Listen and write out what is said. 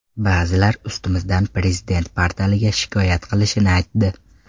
Ba’zilar ustimizdan Prezident portaliga shikoyat qilishini aytdi.